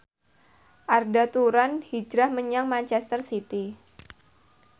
Arda Turan hijrah menyang manchester city